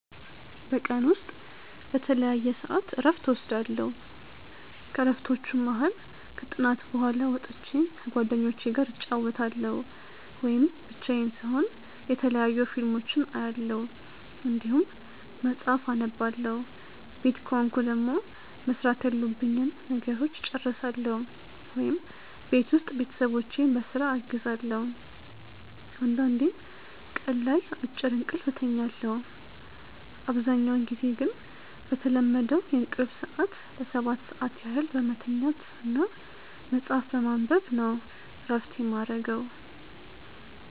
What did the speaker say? በቀን ውስጥ በተለያየ ሰዐት እረፍት እወስዳለሁ። ከእረፍቶቹም መሀል ከጥናት በኋላ ወጥቼ ከጓደኞቹ ጋር እጫወታለሁ ወይም ብቻዬን ስሆን የተለያዩ ፊልሞችን አያለሁ እንዲሁም መጽሐፍ አነባለሁ ቤት ከሆንኩ ደግሞ መስራት ያሉብኝን ነገሮች እጨርሳለሁ ወይም ቤት ውስጥ ቤተሰቦቼን በስራ አግዛለሁ አንዳንዴም ቀን ላይ አጭር እንቅልፍ እተኛለሁ። አብዛኛውን ጊዜ ግን በተለመደው የእንቅልፍ ሰዐት ለ7 ሰዓት ያህል በመተኛት እና መጽሀፍ በማንበብ ነው እረፍት የማረገው።